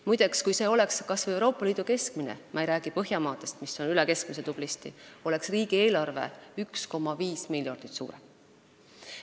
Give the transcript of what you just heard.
Muide, kui see oleks kas või Euroopa Liidu keskmine – ma ei räägi Põhjamaadest, kus see on tublisti üle keskmise –, oleks riigieelarve 1,5 miljardit suurem.